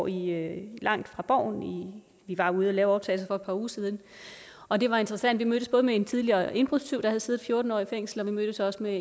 i langt fra borgen vi var ude at lave optagelser par uger siden og det var interessant vi mødtes både med en tidligere indbrudstyv der havde siddet fjorten år i fængsel og vi mødtes også med